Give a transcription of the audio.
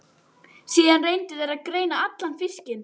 Síðan reyndu þeir að greina allan fiskinn.